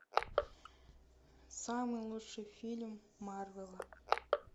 самый лучший фильм марвела